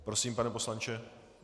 Prosím, pane poslanče.